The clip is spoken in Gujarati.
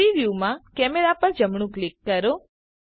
3ડી વ્યુંમાં કેમેરા પર જમણું ક્લિક કરો